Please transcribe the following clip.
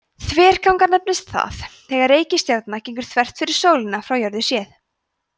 þverganga nefnist það þegar reikistjarna gengur þvert fyrir sólina frá jörðu séð